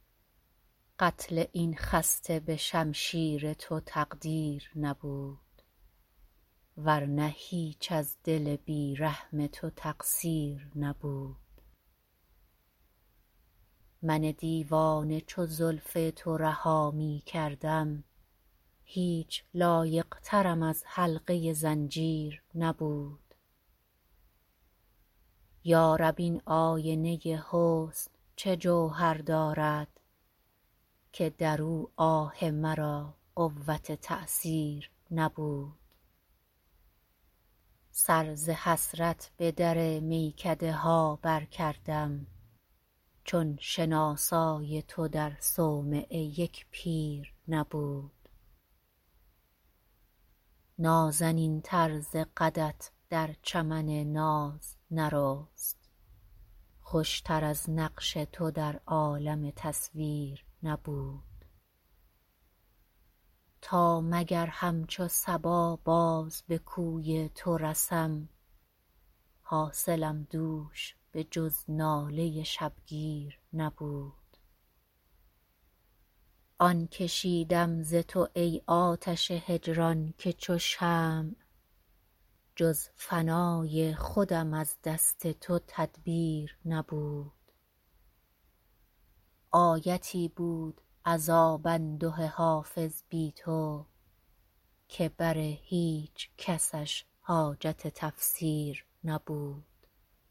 قتل این خسته به شمشیر تو تقدیر نبود ور نه هیچ از دل بی رحم تو تقصیر نبود من دیوانه چو زلف تو رها می کردم هیچ لایق ترم از حلقه زنجیر نبود یا رب این آینه حسن چه جوهر دارد که در او آه مرا قوت تأثیر نبود سر ز حسرت به در میکده ها برکردم چون شناسای تو در صومعه یک پیر نبود نازنین تر ز قدت در چمن ناز نرست خوش تر از نقش تو در عالم تصویر نبود تا مگر همچو صبا باز به کوی تو رسم حاصلم دوش به جز ناله شبگیر نبود آن کشیدم ز تو ای آتش هجران که چو شمع جز فنای خودم از دست تو تدبیر نبود آیتی بود عذاب انده حافظ بی تو که بر هیچ کسش حاجت تفسیر نبود